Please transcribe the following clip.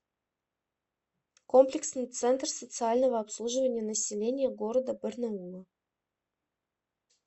комплексный центр социального обслуживания населения города барнаула